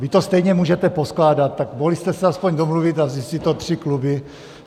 Vy to stejně můžete poskládat, tak mohli jste se aspoň domluvit a vzít si to tři kluby.